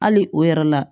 Hali o yɛrɛ la